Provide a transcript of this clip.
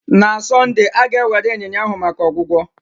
Na Sọnde, a ga-ewere ịnyịnya ahụ maka ọgwụgwọ.